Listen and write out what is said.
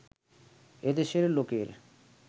এ দেশের লোকের